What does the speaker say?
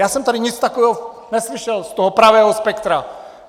Já jsem tady nic takového neslyšel z toho pravého spektra.